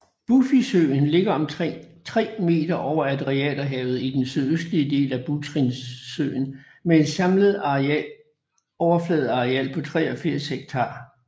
Bufisøen ligger omkring 3 meter over Adriaterhavet i den sydøstlige del af Butrintsøen med et samlet overfladeareal på 83 hektar